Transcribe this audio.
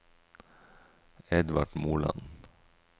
Edvard Moland